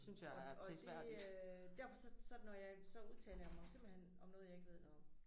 Og og det øh derfor så så når jeg så udtaler jeg mig simpelthen om noget jeg ikke ved noget om